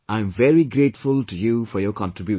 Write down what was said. I am very grateful to you for your contribution